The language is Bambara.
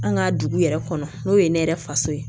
An ka dugu yɛrɛ kɔnɔ n'o ye ne yɛrɛ faso ye